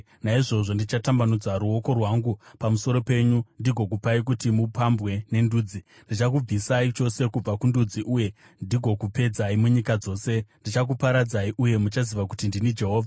naizvozvo ndichatambanudza ruoko rwangu pamusoro penyu ndigokupai kuti mupambwe nendudzi. Ndichakubvisai chose kubva kundudzi uye ndigokupedzai munyika dzose. Ndichakuparadzai; uye muchaziva kuti ndini Jehovha.’ ”